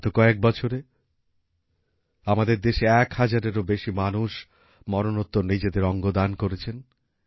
বিগত কয়েক বছরে আমাদের দেশে এক হাজারেরও বেশী মানুষ মরনোত্তর নিজেদের অঙ্গদান করেছেন